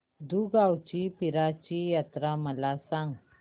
दुगावची पीराची यात्रा मला सांग